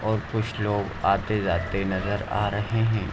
और कुछ लोग आते-जाते नजर आ रहे हैं।